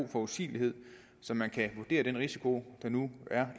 af forudsigelighed så man kan vurdere den risiko der nu er